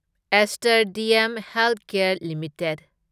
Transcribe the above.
aster DM Healthcare limited